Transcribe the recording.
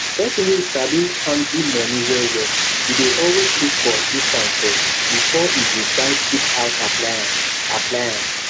person wey sabi handle money wellwell e dey always look for discount first before e go buy cheap house appliance appliance